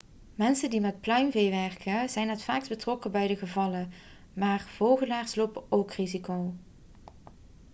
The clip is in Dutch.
mensen die met pluimvee werken zijn het vaakst betrokken bij deze gevallen maar vogelaars lopen ook risico